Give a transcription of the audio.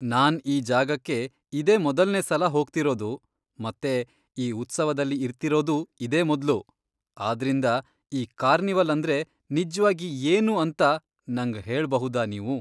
ನಾನ್ ಈ ಜಾಗಕ್ಕೆ ಇದೇ ಮೊದಲ್ನೆ ಸಲ ಹೋಗ್ತಿರೋದು ಮತ್ತೆ ಈ ಉತ್ಸವದಲ್ಲಿ ಇರ್ತಿರೋದೂ ಇದೇ ಮೊದ್ಲು, ಆದ್ರಿಂದ ಈ ಕಾರ್ನಿವಲ್ ಅಂದ್ರೆ ನಿಜ್ವಾಗಿ ಏನು ಅಂತ ನಂಗ್ ಹೇಳ್ಬಹುದಾ ನೀವು?